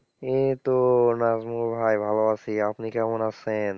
এ তো নাজিমুল ভাই ভালো আছি, আপনি কেমন আছেন?